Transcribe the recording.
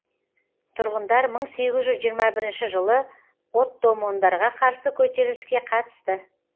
тұрғындар мың сегіз жүз жиырма бірінші жылы оттомандарға қарсы көтеріліске қатысты